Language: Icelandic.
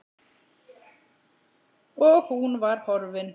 Og hún var horfin.